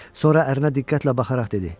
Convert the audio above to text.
Sonra ərinə diqqətlə baxaraq dedi: